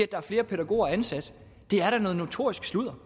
der er flere pædagoger ansat det er da noget notorisk sludder